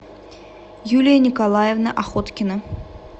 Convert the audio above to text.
юлия николаевна охоткина